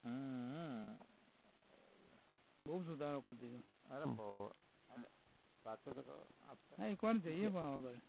બોવ સુધારો કરી દીધો, અરે બોવ નહીં કોણ છે એ તમારા ભાઈ